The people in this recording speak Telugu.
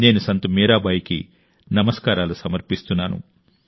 నేను సంత్ మీరాబాయికి నమస్కారాలు సమర్పిస్తున్నాను